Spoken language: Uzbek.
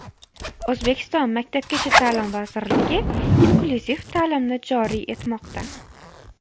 O‘zbekiston Maktabgacha ta’lim vazirligi inklyuziv ta’limni joriy etmoqda .